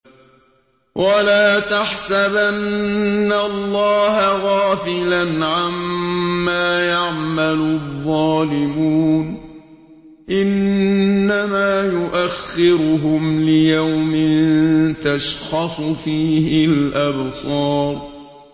وَلَا تَحْسَبَنَّ اللَّهَ غَافِلًا عَمَّا يَعْمَلُ الظَّالِمُونَ ۚ إِنَّمَا يُؤَخِّرُهُمْ لِيَوْمٍ تَشْخَصُ فِيهِ الْأَبْصَارُ